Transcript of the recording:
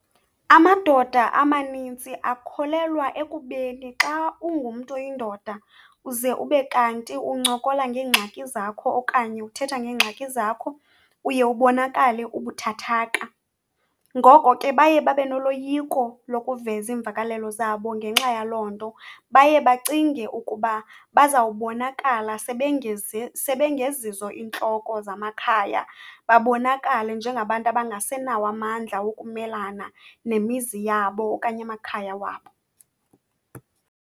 Amadoda amaninzi akholelwa ekubeni xa ungumntu oyindoda uze ube kanti uncokola ngeengxaki zakho okanye uthetha ngeengxaki zakho uye ubonakale ubuthathaka. Ngoko ke, baye babe noloyiko lokuveza imvakalelo zabo ngenxa yaloo nto, baye bacinge ukuba bazawubonakala sebengeezizo intloko zamakhaya, babonakale njengabantu abangasenawo amandla wokumelana nemizi yabo, okanye amakhaya wabo.